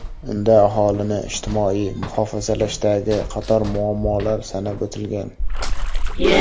Unda aholini ijtimoiy muhofazalashdagi qator muammolar sanab o‘tilgan.